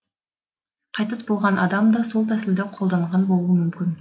қайтыс болған адам да сол тәсілді қолданған болуы мүмкін